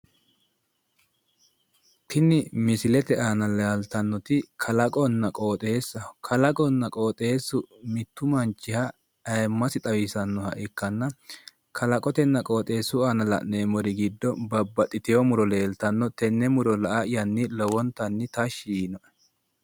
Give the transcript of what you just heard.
Tini misilete aana leeltannoti kalaqonna qooxeessaho Kalaqonna qooxeessu mittu manchiha ayiimmasi xawisannoha ikkanna kalaqotenna qooxeessaho la'neemmori giddo babbaxitino muro leeltanno tenne muro la'ayanni lowontanni tashshi yiinoe.